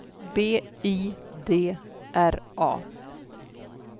B I D R A